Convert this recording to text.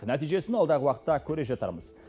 нәтижесін алдағы уақытта көре жатармыз